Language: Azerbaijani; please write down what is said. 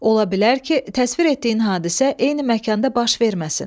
Ola bilər ki, təsvir etdiyin hadisə eyni məkanda baş verməsin.